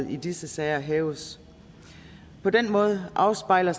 i disse sager hæves på den måde afspejler